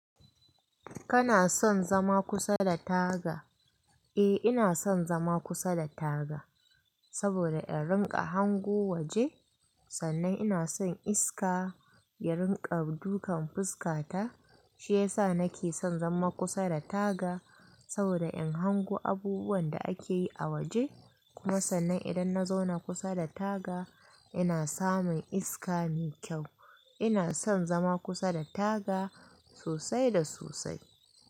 Kana son zama kusa da taga? Eh ina son zama kusa da taga, saboda in rika hango waje. Sannan ina son iska ya rinƙa dukan fuskata. Shi yasa nake son zama kusa da taga saboda in hango abubuwan da ake yi a waje. Kuma sannan idan na zauna kusa da taga ina samun iska mai kyau. Ina son zama kusa da taga sosai da sosai.